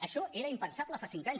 això era impensable fa cinc anys